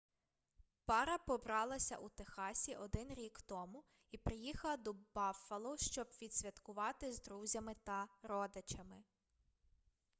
пара побралася у техасі один рік тому і приїхала до баффало щоб відсвяткувати з друзями та родичами